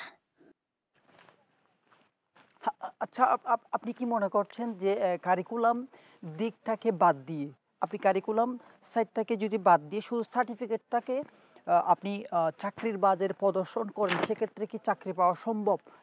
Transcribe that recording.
হা আ আছে আপ আপনি কি মনে করেন খিন যে curriculam দিকটাকে বাদ দিয়ে আপনি curriculam side তাকে যদি বাদ দিস যদি ঠিক থাকে আ আপনি আ চাকরির বাজারে প্রদর্শন করলে সে ক্ষেত্রে কি চাকরি পাও সম্ভব